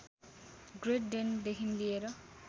great डेनदेखि लिएर